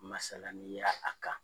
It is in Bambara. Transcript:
Masalanin ye a kan.